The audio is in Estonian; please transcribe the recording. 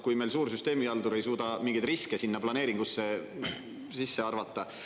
Kui meil suur süsteemihaldur ei suuda mingeid riske sinna planeeringusse sisse arvata ...